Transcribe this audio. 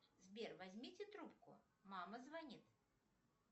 сбер возьмите трубку мама звонит